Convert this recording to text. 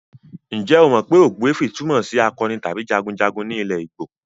Ǹjẹ́ o mọ pé ogbuefi túmọ̀ sí akọni tàbí jagunjagun ní ilẹ̀ Igbo?